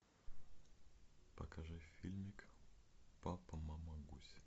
покажи фильмик папа мама гусь